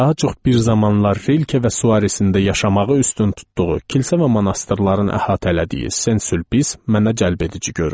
Daha çox bir zamanlar Rilke və Suaresin də yaşamağı üstün tutduğu kilsə və monastırların əhatələdiyi Sen Sülpis mənə cəlbedici göründü.